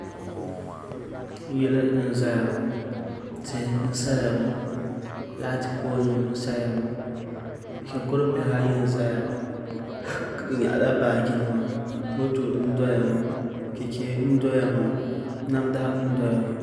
Yili n ʒɛya ŋo tihi n saya ŋo laati pool nim n saya ŋo shikuru bihi ayi n ʒɛya bi nyaɣala baaji nima moto n doya ŋo chɛchɛ n doya ŋo namda n doya ŋo